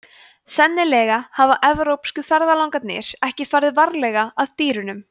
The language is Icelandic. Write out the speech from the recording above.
sennilega hafa evrópsku ferðalangarnir ekki farið varlega að dýrunum